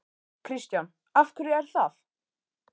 Kristján: Af hverju er það?